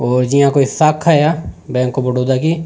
और जिहा कोई साखा है बैंक ऑफ़ बदोड़ा की।